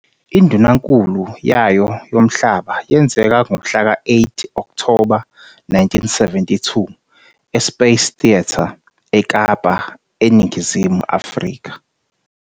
Indunankulu yayo yomhlaba yenzeka ngomhlaka-8 Okthoba 1972 e- Space Theatre, eKapa, eNingizimu Afrika.